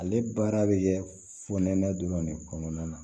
Ale baara bɛ kɛ fonɛnɛ dɔrɔn de kɔnɔna na